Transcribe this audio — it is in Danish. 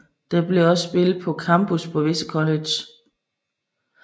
Det bliver også spillet på campus på visse colleges